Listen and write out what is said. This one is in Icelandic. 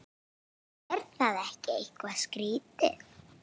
Er það ekki eitthvað skrítið?